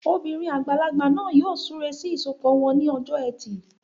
Obìnrin àgbàlagbà náà yóò súre sí ìsọpọ̀ wọn ní ọjọ́ ẹtì